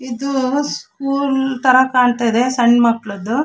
ಇದು ಸ್ಕೂಲ್ ತರ ಕಾಣತ್ತಾ ಇದೆ ಸಣ್ಣ ಮಕ್ಕಳದ್ದು.